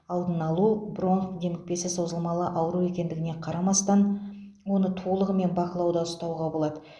алдын алу бронх демікпесі созылмалы ауру екендігіне қарамастан оны толығымен бақылауда ұстауға болады